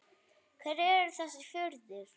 Hverjir eru þessir firðir?